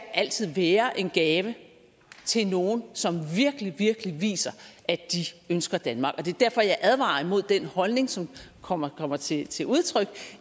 altid være en gave til nogle som virkelig virkelig viser at de ønsker danmark det er derfor jeg advarer imod den holdning som kommer kommer til til udtryk